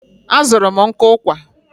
A zụrụ m nkụ ụkwà.